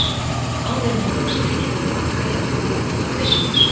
áður en hann tók strikið til baka, í átt til búðanna, byssulaus.